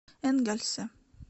энгельсе